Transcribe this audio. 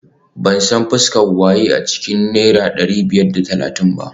Ban san fuskar waye a cikin kudin naira dari biyar da talatin ba